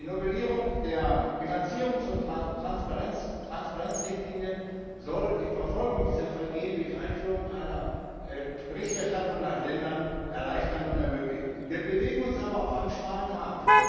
Die Novellierung der Bilanzierungs und der Transparenzrichtlinie soll die Verfolgung dieser Vergehen durch Einführung einer Berichterstattung nach Ländern erleichtern und ermöglichen. Wir bewegen uns aber auf einem schmalen Grat.